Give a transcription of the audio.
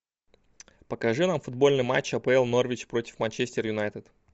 покажи нам футбольный матч апл норвич против манчестер юнайтед